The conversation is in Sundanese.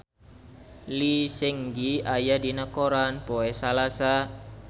Lee Seung Gi aya dina koran poe Salasa